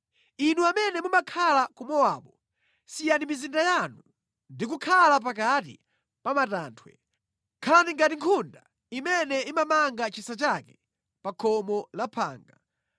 Inu amene mumakhala ku Mowabu, siyani mizinda yanu ndi kukakhala pakati pa matanthwe. Khalani ngati nkhunda imene imamanga chisa chake pa khomo la phanga.